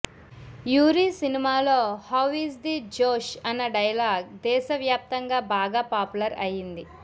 Yuri సినిమాలో how is the josh అన్న dialogue దేశవ్యాప్తంగా బాగా పాపులర్ అయింది